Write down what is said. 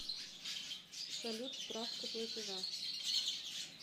салют справка платежа